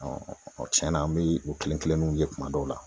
tiɲɛna an bi o kelen kelenninw ye kuma dɔw la.